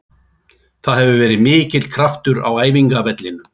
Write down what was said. Það hefur verið mikill kraftur á æfingavellinum.